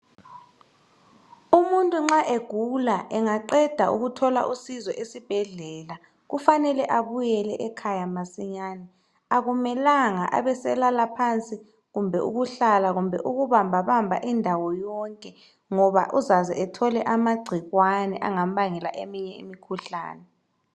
Umuntu nxa egula engaqeda ukuthola usizo esibhedlela kufanele abuyele ekhaya masinyane. Akumelanga abeselala phansi kumbe ukuhlala kumbe ukubambabamba indawo yonke ngoba uzaze ethole amagcikwane angambangela eminye imikhuhlane.